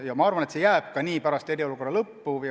Ja ma arvan, et see jääb nii ka nüüd, pärast eriolukorra lõppu.